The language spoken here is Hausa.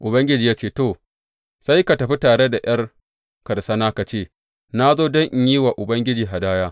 Ubangiji ya ce, To, sai ka tafi tare da ’yar karsana ka ce, Na zo don in yi wa Ubangiji hadaya.’